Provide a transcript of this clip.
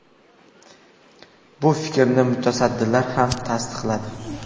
Bu fikrni mutasaddilar ham tasdiqladi.